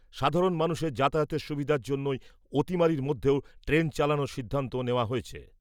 সাধারণ মানুষের যাতায়াতের সুবিধার জন্যই অতিমারির মধ্যেও ট্রেন চালানোর সিদ্ধান্ত নেওয়া হয়েছে।